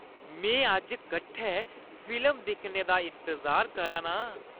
में अज्ज कट्ठे फिल्म दिक्खने दा इंतजार करा ना आं।